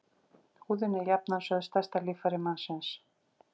Húðin er svo jafnan sögð stærsta líffæri mannsins.